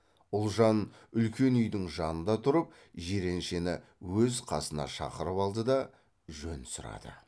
ұлжан үлкен үйдің жанында тұрып жиреншені өз қасына шақырып алды да жөн сұрады